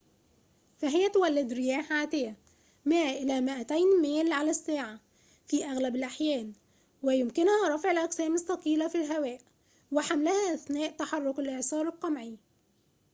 فهي تولد رياح عاتية 100-200 ميل/ساعة في أغلب الأحيان ويمكنها رفع الأجسام الثقيلة في الهواء، وحملها أثناء تحرك الإعصار القمعي